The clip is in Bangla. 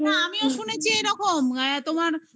না আমিও শুনেছি এরকম তোমার.